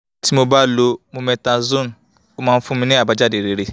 tí mo bá lo mometasone ó máa ń fún mi ní àbájáde rere